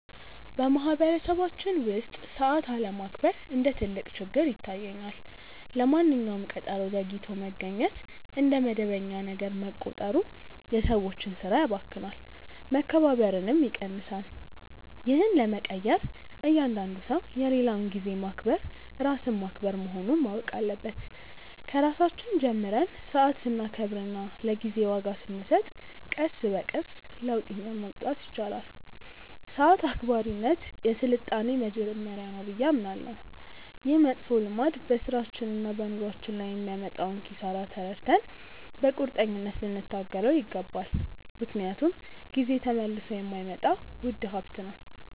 በማኅበረሰባችን ውስጥ ሰዓት አለማክበር እንደ ትልቅ ችግር ይታየኛል። ለማንኛውም ቀጠሮ ዘግይቶ መገኘት እንደ መደበኛ ነገር መቆጠሩ የሰዎችን ሥራ ያባክናል፣ መከባበርንም ይቀንሳል። ይህን ለመቀየር እያንዳንዱ ሰው የሌላውን ጊዜ ማክበር ራስን ማክበር መሆኑን ማወቅ አለበት። ከራሳችን ጀምረን ሰዓት ስናከብርና ለጊዜ ዋጋ ስንሰጥ ቀስ በቀስ ለውጥ ማምጣት ይቻላል። ሰዓት አክባሪነት የሥልጣኔ መጀመሪያ ነው ብዬ አምናለሁ። ይህ መጥፎ ልማድ በሥራችንና በኑሯችን ላይ የሚያመጣውን ኪሳራ ተረድተን በቁርጠኝነት ልንታገለው ይገባል፤ ምክንያቱም ጊዜ ተመልሶ የማይመጣ ውድ ሀብት ነው።